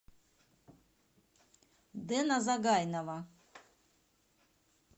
дэна загайнова